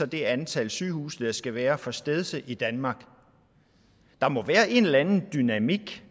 det antal sygehuse der skal være for stedse i danmark der må være en eller anden dynamik